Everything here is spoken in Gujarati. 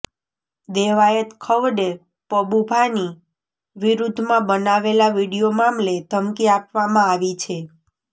દેવાયત ખવડે પબુભાની વિરુદ્ધમાં બનાવેલા વીડિયો મામલે ધમકી આપવામાં આવી છે